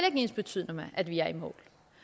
ikke ensbetydende med at vi er i mål